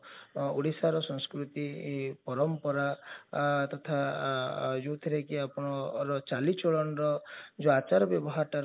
ଓଡିଶାର ସଂସ୍କୃତି ପରମ୍ପରା ତଥା ଯାଉଥିରେ କି ଆପଣ ଚାଲି ଚଲଣର ଆଚାର ବ୍ୟବହାରଟା ରହୁଛି